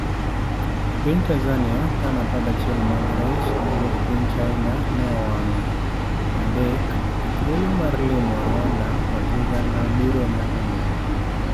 E piny Tanzania, tan 11 mag rech mowuok piny China ne owang'e adek, be thuolo mar limo Rwanda koda Uganda biro nyago olemo?